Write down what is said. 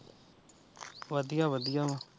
ਵਧੀਆ ਵਧੀਆ ਵਾ।